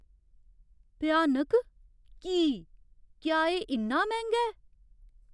भ्यानक? की ? क्या एह् इन्ना मैंह्गा ऐ?